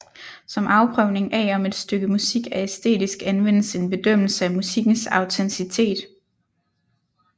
Som afprøvning af om et stykke musik er æstetisk anvendes en bedømmelse af musikkens autenticitet